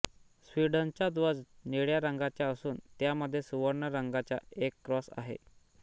स्वीडनचा ध्वज निळ्या रंगाचा असून त्यामध्ये सुवर्ण रंगाचा एक क्रॉस आहे